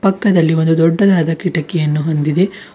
ಪಕ್ಕದಲ್ಲಿ ಒಂದು ದೊಡ್ಡದಾದ ಕಿಟಕಿಯನ್ನು ಹೊಂದಿದೆ.